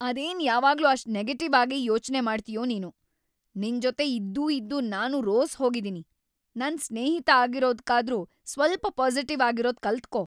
ಅದೇನ್ ಯಾವಾಗ್ಲೂ ಅಷ್ಟ್ ನೆಗೆಟಿವ್‌ ಆಗೇ ಯೋಚ್ನೆ ಮಾಡ್ತೀಯೋ ನೀನು! ನಿನ್ಜೊತೆ ಇದ್ದೂ ಇದ್ದೂ ನಾನೂ ರೋಸ್‌ಹೋಗಿದೀನಿ, ನನ್‌ ಸ್ನೇಹಿತ ಆಗಿರೋದ್ಕಾದ್ರೂ ಸ್ವಲ್ಪ ಪಾಸಿಟಿವ್‌ ಆಗಿರೋದ್‌ ಕಲ್ತ್‌ಕೋ!